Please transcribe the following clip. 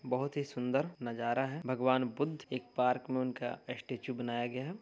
बहुत ही सुन्दर नजारा है। भगवान बुद्ध एक पार्क में उनका स्टेच्यु बनाया गया है।